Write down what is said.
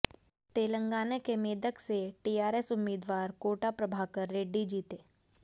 तेलंगाना के मेदक से टीआरएस उम्मीदवार कोटा प्रभाकर रेड्डी जीते